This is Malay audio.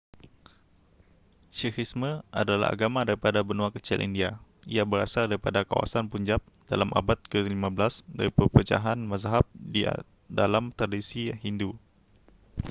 sikhisme adalah agama daripada benua kecil india ia berasal daripada kawasan punjab dalam abad ke15 dari perpecahan mazhab di dalam tradisi hindu